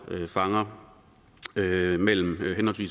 fanger mellem mellem